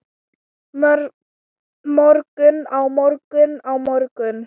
morgun, á morgun, á morgun.